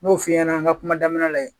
N'yo f'i ɲɛnɛ an ka kuma daminɛ la